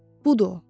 Budur o.